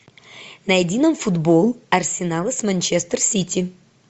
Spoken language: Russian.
найди нам футбол арсенала с манчестер сити